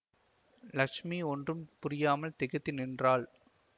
லக்ஷ்மி ஒன்றும் புரியாமல் திகைத்து நின்றாள்